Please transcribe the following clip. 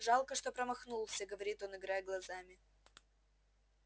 жалко что промахнулся говорит он играя глазами